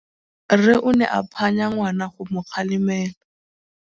Rre o ne a phanya ngwana go mo galemela.